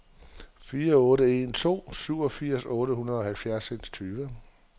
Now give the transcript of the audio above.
fire otte en to syvogfirs otte hundrede og halvfjerds